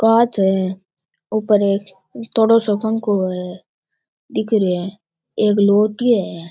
कांच है ऊपर एक धोलो सो पंखो दिख रिया है एक लोटियो है।